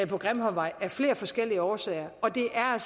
på grimhøjvej af flere forskellige årsager og det er